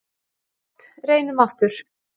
Gott reynum aftur.